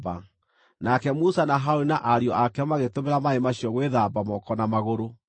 nake Musa na Harũni na ariũ ake magĩtũmĩra maaĩ macio gwĩthamba moko na magũrũ.